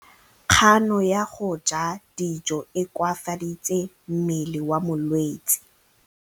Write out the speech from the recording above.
Kganô ya go ja dijo e koafaditse mmele wa molwetse.